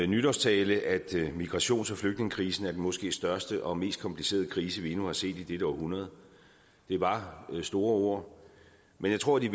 nytårstale at migrations og flygtningekrisen måske største og mest komplicerede krise vi endnu har set i dette århundrede det var store ord men jeg tror de